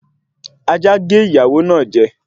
Ajá gé ìyàwó náà jẹ